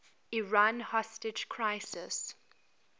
iran hostage crisis